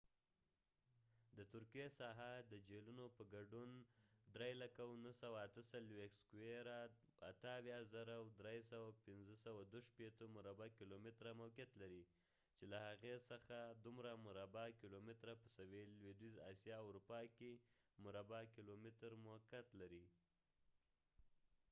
د ترکیې ساحه، د جهيلونو په ګډون، 783,562 مربع کیلومتره 300,948 sq mi موقعیت لري، چې له هغې څخه 755,688 مربع کیلومتره 291,773 sq mi په سویل لویدیځې آسیا او په اروپا کې، 23,764 مربع کیلومتره 9,174 sq m کې موقعیت لري